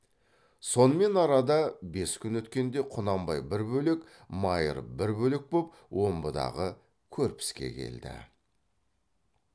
сонымен арада бес күн өткенде құнанбай бір бөлек майыр бір бөлек боп омбыдағы көрпіске келді